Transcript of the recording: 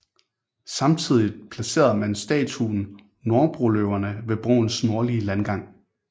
Samtidigt placerede man statuen Norrbroløverne ved broens nordlige landgang